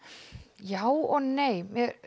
já og nei